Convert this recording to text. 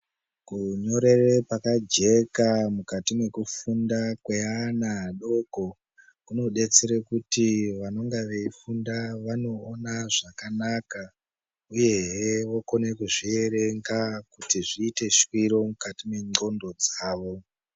Kunyorere pakajeka mukati mekufunda kweana adoko kudetsera kuti vanenge veifunda vanoona zvakanaka uyehe vokone kuzvierenga kuti zviite shwiro mukati mendxondo dzavo.